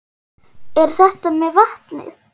En þetta með vatnið?